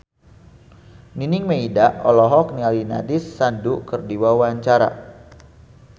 Nining Meida olohok ningali Nandish Sandhu keur diwawancara